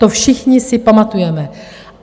To si všichni pamatujeme.